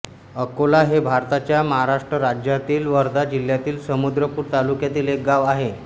अकोला हे भारतातील महाराष्ट्र राज्यातील वर्धा जिल्ह्यातील समुद्रपूर तालुक्यातील एक गाव आहे